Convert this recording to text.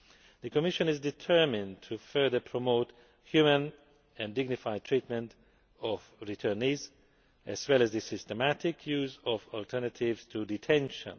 The Commission is determined to further promote humane and dignified treatment of returnees as well as the systematic use of alternatives to detention.